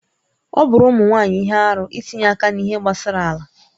Ọ bụụrụ ụmụ nwaanyị ihe arụ itinye aka n'ihe gbasara ala